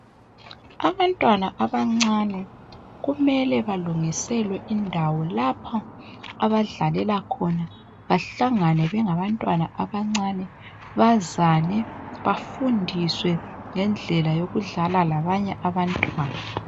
Abantwana abancane kumele balungiselwe indawo lapha abadlalela khona behlangane bengabantwana abancane bazane bafundiswe ngendlela yokudlala labanye abantwana.